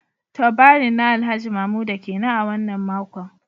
Turbaring na Alhaji Mamuda kenan a wannan makon